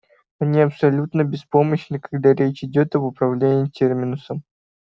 они абсолютно беспомощны когда речь идёт об управлении терминусом